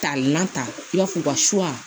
Ka na ta i b'a fɔ u ka